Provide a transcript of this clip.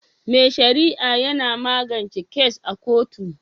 Mai sharia yina magance kes a kotu